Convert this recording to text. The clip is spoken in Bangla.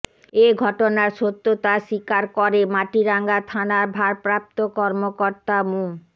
এ ঘটনার সত্যতা স্বীকার করে মাটিরাঙ্গা থানার ভারপ্রাপ্ত কর্মকতা মো